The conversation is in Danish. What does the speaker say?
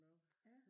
ja